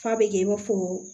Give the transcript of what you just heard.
F'a bɛ kɛ i n'a fɔ